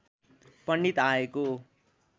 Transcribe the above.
पण्डित आएको